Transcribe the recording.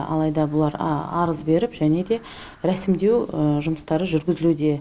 алайда бұлар арыз беріп және де рәсімдеу жұмыстары жүргізілуде